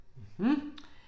Mh